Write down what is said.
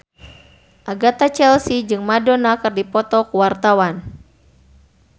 Agatha Chelsea jeung Madonna keur dipoto ku wartawan